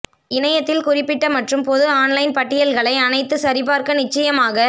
இணையத்தில் குறிப்பிட்ட மற்றும் பொது ஆன்லைன் பட்டியல்களை அனைத்து சரிபார்க்க நிச்சயமாக